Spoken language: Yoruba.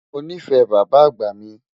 Mọ ní fẹ̀ bàbá àgbá mi.